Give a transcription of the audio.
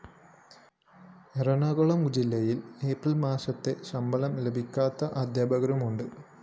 എറണാകുളം ജില്ലയില്‍ ഏപ്രില്‍ മാസത്തെ ശമ്പളം ലഭിക്കാത്ത അദ്ധ്യാപകരുമുണ്ട്